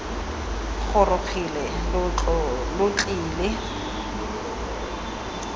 gorogile lo tle lo tlile